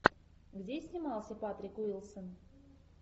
где снимался патрик уилсон